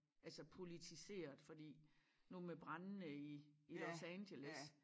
Altså poiltiseret fordi nu med brandene i i Los Angeles